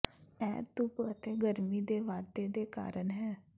ਇਹ ਧੁੱਪ ਅਤੇ ਗਰਮੀ ਦੇ ਵਾਧੇ ਦੇ ਕਾਰਨ ਹੈ